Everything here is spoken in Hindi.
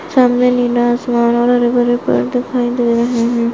सामने नीला आसमान और बडे बडे पेड़ दिखाई दे रहे है।